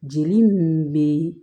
Jeli mun be